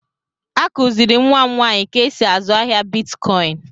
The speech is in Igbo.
Akùziri m nwa m nwaanyị ka e sị azụ ahịa Bịtkọin